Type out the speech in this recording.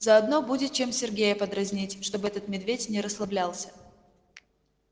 заодно будет чем сергея подразнить чтобы этот медведь не расслаблялся